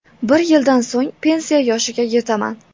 Bir yildan so‘ng pensiya yoshiga yetaman.